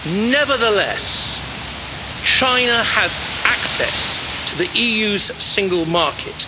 Nevertheless, China has access to the EU's single market.